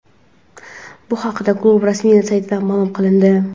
Bu haqda klub rasmiy saytida ma’lum qilindi.